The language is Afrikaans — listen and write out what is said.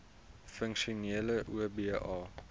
funksionele oba